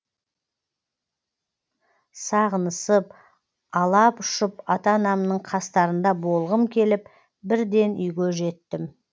сағынысып алап ұшып ата анамның қастарында болғым келіп бірден үйге жеттім